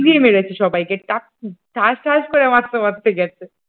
শুইয়ে মেরেছি সবাইকে টাক ঠাস ঠাস করে মারতে মারতে গেছে।